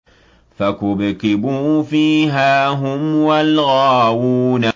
فَكُبْكِبُوا فِيهَا هُمْ وَالْغَاوُونَ